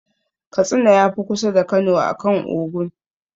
Katsina ya fi kusa da Kano akan Ogun.